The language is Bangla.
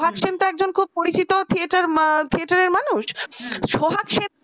সোহাগ সেনটা একজন খুব পরিচিত theater theater এর মানুষ